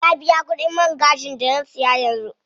Na biya kudin man gashin da na siya yanzu.